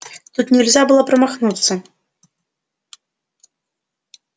тут нельзя было промахнуться